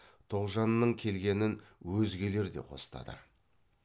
тоғжанның келгенін өзгелер де қостады